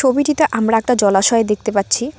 ছবিটিতে আমরা একটা জলাশয় দেখতে পাচ্ছি।